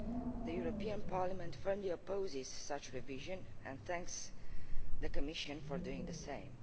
The European Parliament firmly opposes such revision and thanks the Commission for doing the same.